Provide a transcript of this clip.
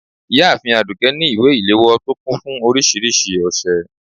ìyáàfín adùké ní ìwé ile-ìlewọ to kún fún oríṣiríṣi òsẹ